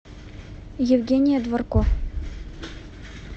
евгения дворко